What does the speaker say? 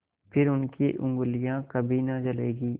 फिर उनकी उँगलियाँ कभी न जलेंगी